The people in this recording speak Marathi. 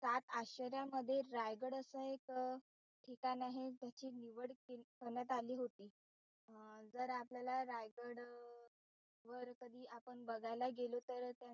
सात आश्चर्यांमध्ये रायगड असं एक ठिकाण आहे त्याची निवड करण्यात आली होती अं जर आपल्याला रायगड वर कधी आपण बघायला गेलो तर त्या,